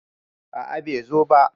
A`a bai zo ba